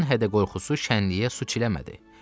Onun hədə qorxusu şənliyə su çiləmədi.